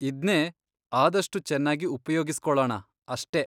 ಇದ್ನೇ ಆದಷ್ಟು ಚೆನ್ನಾಗಿ ಉಪ್ಯೋಗಿಸ್ಕೊಳಣ ಅಷ್ಟೇ.